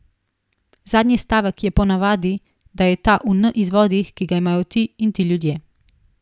Zadnji stavek je ponavadi, da je ta v N izvodih, ki ga imajo ti in ti ljudje.